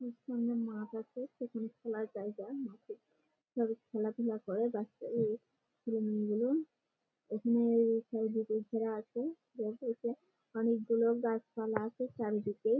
এর সামনে মাঠ আছে সেখানে খেলার জায়গা মাঠে সবাই খেলাধুলা করে বাচ্ছারা এই উম গুলো ওখানে-এ চারিদিকে ঘেরা আছে অনেকগুলো গাছপালা আছে চারিদিকে --